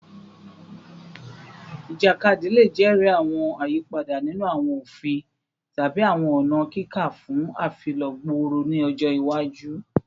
Ijakadi le jẹri awọn ayipada ninu awọn ofin tabi awọn ọna kika fun afilọ gbooro ni ọjọ iwaju